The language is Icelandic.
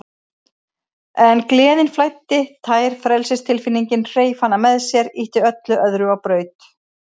En gleðin flæddi, tær frelsistilfinningin, hreif hana með sér, ýtti öllu öðru á braut.